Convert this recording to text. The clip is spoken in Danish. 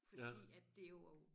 Fordi at det jo og